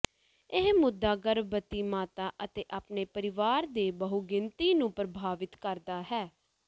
ਇਹ ਮੁੱਦਾ ਗਰਭਵਤੀ ਮਾਤਾ ਅਤੇ ਆਪਣੇ ਪਰਿਵਾਰ ਦੀ ਬਹੁਗਿਣਤੀ ਨੂੰ ਪ੍ਰਭਾਵਿਤ ਕਰਦਾ ਹੈ